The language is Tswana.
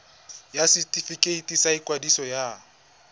ya setefikeiti sa ikwadiso ya